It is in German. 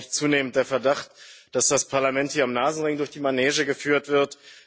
Mich beschleicht zunehmend der Verdacht, dass das Parlament hier am Nasenring durch die Manege geführt wird.